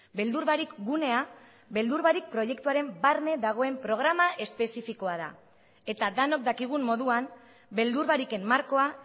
beldur barik gunea beldur barik proiektuaren barne dagoen programa espezifikoa da eta denok dakigun moduan beldur bariken markoa